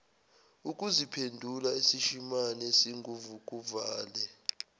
ukuziphendula isishimane esinguvukuvale